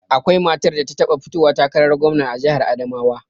Akwai matar da ta taɓa fitowa takarar gwamna a jihar Adamawa